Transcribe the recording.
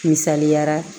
Misaliyara